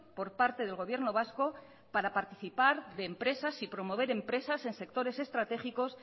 por parte del gobierno vasco para participar de empresas y promover empresas en sectores estratégicos